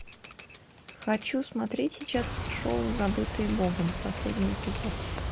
хочу смотреть сейчас шоу забытые богом последний эпизод